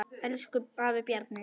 Elsku afi Bjarni.